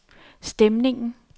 stemningen